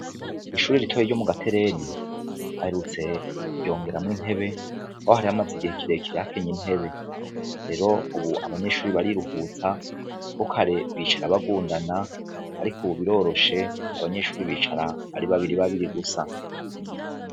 Ishure ritoya ryo mu Gatereni baherutse kuryongeramwo intebe ho hari hamaze igihe kirekire hakenye intebe, rero ubu abanyeshure bariruhutsa kuko kare bicarako bagundana ariko ubu biroroshe abanyeshure bicara ari babiri babiri gusa.